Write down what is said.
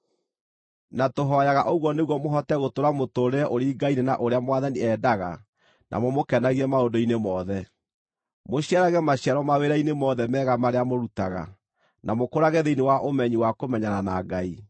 Na tũhooyaga ũguo nĩguo mũhote gũtũũra mũtũũrĩre ũringaine na ũrĩa Mwathani endaga na mũmũkenagie maũndũ-inĩ mothe: mũciarage maciaro mawĩra-inĩ mothe mega marĩa mũrutaga, na mũkũrage thĩinĩ wa ũmenyi wa kũmenyana na Ngai,